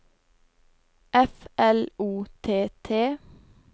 F L O T T